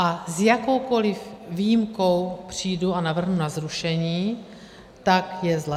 A s jakoukoli výjimkou přijdu a navrhnu na zrušení, tak je zle.